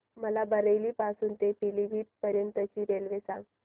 मला बरेली पासून तर पीलीभीत पर्यंत ची रेल्वे सांगा